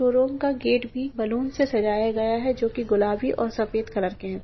Showroom का gate भी से सजाया गया है जो की गुलाबी और सफ़ेद कलर के है ।